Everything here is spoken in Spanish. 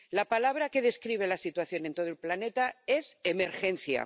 La palabra que describe la situación en todo el planeta es emergencia.